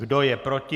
Kdo je proti?